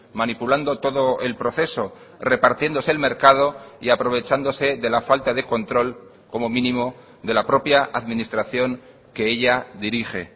manipulando todo el proceso repartiéndose el mercado y aprovechándose de la falta de control como mínimo de la propia administración que ella dirige